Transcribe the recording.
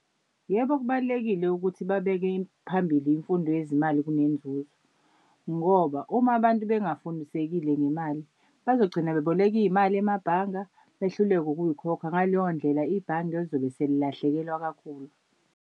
Yebo, kubalulekile ukuthi babeke phambili imfundo yezimali kunenzuzo ngoba uma abantu abangafundisekile ngemali bazogcina beboleka iy'mali emabhanga, behluleke ukuyikhokha ngaleyo ndlela ibhange lizobe selilahlekelwa kakhulu.